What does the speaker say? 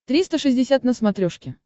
триста шестьдесят на смотрешке